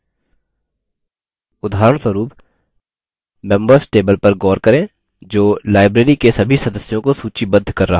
उदाहरणस्वरुप members table पर गौर करें जो library के सभी सदस्यों को सूचीबद्ध कर रहा है